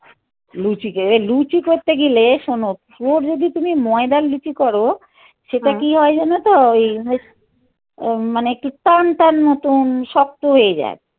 লুচি কে, লুচি করতে গেলে শোনো. ওর যদি তুমি ময়দার লুচি করো কি হয় জানো তো? ওই ওম মানে একটু টান টান মতন শক্ত হয়ে যায়.